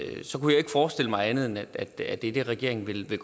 forestille mig andet end at det er det regeringen vil vil